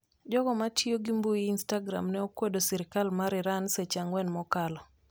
Jogo matiyo gi mbui instagram ne okwedo sirikal mar Iran seche ang'wen mokalo